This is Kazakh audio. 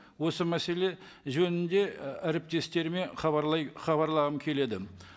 осы мәселе жөнінде і әріптестеріме хабарлай хабарлағым келеді